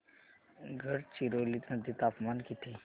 गडचिरोली मध्ये तापमान किती